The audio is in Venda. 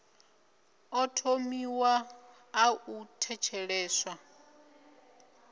ḓo vhewaho ḽa u thetsheleswa